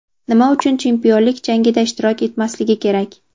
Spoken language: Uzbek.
nima uchun chempionlik jangida ishtirok etmasligi kerak?.